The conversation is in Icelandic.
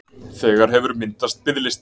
Þegar hefur myndast biðlisti